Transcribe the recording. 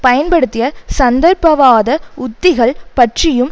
பயன்படுத்திய சந்தர்ப்பவாத உத்திகள் பற்றியும்